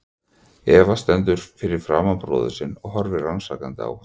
Eva stendur fyrir framan bróður sinn og horfir rannsakandi á hann.